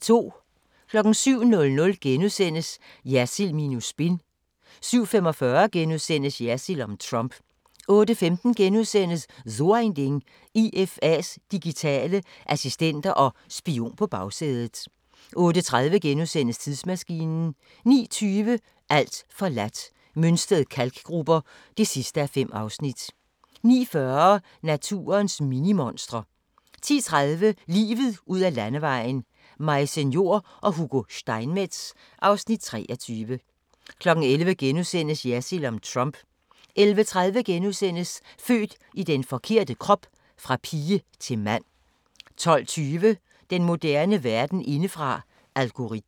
07:00: Jersild minus spin * 07:45: Jersild om Trump * 08:15: So ein Ding: IFA's digitale assistenter og spion på bagsædet * 08:30: Tidsmaskinen * 09:20: Alt forladt – Mønsted Kalkgruber (5:5) 09:40: Naturens minimonstre 10:30: Livet ud ad landevejen: Maise Njor og Hugo Steinmetz (Afs. 23) 11:00: Jersild om Trump * 11:30: Født i den forkerte krop: Fra pige til mand * 12:20: Den moderne verden indefra: Algoritmer